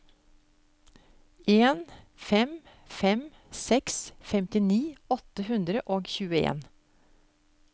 en fem fem seks femtini åtte hundre og tjueen